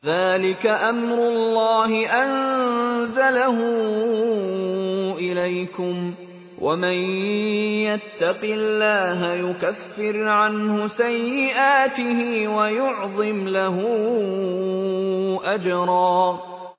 ذَٰلِكَ أَمْرُ اللَّهِ أَنزَلَهُ إِلَيْكُمْ ۚ وَمَن يَتَّقِ اللَّهَ يُكَفِّرْ عَنْهُ سَيِّئَاتِهِ وَيُعْظِمْ لَهُ أَجْرًا